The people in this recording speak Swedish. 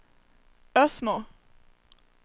Ösmo